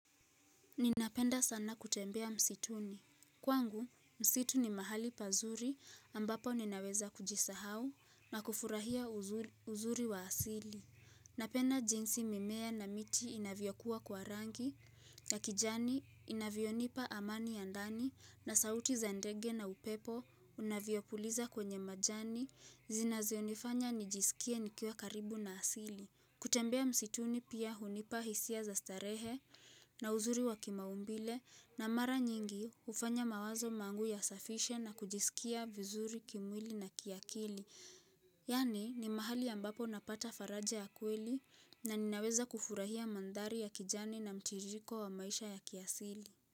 Ninapenda sana kutembea msituni. Kwangu, msitu ni mahali pazuri ambapo ninaweza kujisahau na kufurahia uzuri wa asili. Napenda jinsi mimea na miti inavyo kuwa kwa rangi na kijani inavyonipa amani ya ndani na sauti za ndege na upepo unavyopuliza kwenye majani zinazionifanya nijisikie nikiwa karibu na asili. Kutembea msituni pia hunipa hisia za starehe na uzuri wa kimaumbile na mara nyingi ufanya mawazo mangu yasafishe na kujisikia vizuri kimwili na kiakili. Yaani ni mahali ambapo napata faraja ya kweli na ninaweza kufurahia mandhari ya kijani na mtiririko wa maisha ya kiasili.